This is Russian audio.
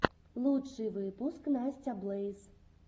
лучший выпуск настя блэйз